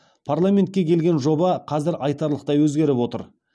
парламентке келген жоба қазір айтарлықтай өзгеріп отыр